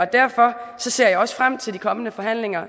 derfor ser jeg også frem til de kommende forhandlinger